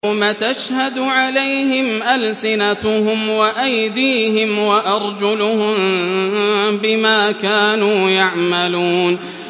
يَوْمَ تَشْهَدُ عَلَيْهِمْ أَلْسِنَتُهُمْ وَأَيْدِيهِمْ وَأَرْجُلُهُم بِمَا كَانُوا يَعْمَلُونَ